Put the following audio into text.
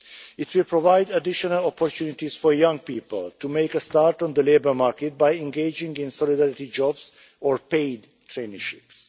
It will provide additional opportunities for young people to make a start on the labour market by engaging in solidarity jobs or paid traineeships.